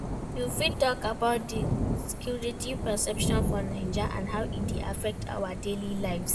You fit talk about di security perception for Naija and how e dey affect our daily lives.